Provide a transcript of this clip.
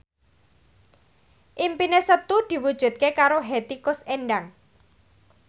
impine Setu diwujudke karo Hetty Koes Endang